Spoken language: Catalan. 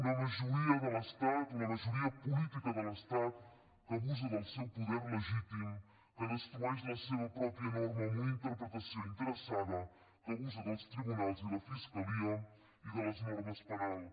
una majoria de l’estat una majoria política de l’estat que abusa del seu poder legítim que destrueix la seva pròpia norma amb una interpretació interessada que abusa dels tribunals i la fiscalia i de les normes penals